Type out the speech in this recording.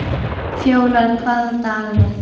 Fjólar, hvaða dagur er í dag?